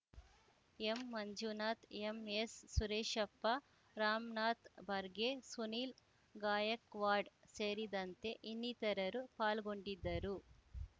M Manjunath MS Sureshappa Ramanath Barge Sunil Gaikwad ಸೇರಿದಂತೆ ಇನ್ನಿತರರು ಪಾಲ್ಗೊಂಡಿದ್ದರು